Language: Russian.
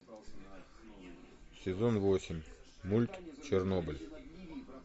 сезон восемь мульт чернобыль